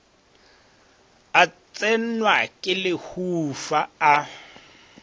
a tsenwa ke lehufa a